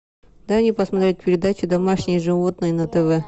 дай мне посмотреть передачу домашние животные на тв